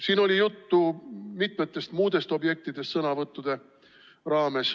Siin oli sõnavõttude raames juttu ka mitmest muust objektist.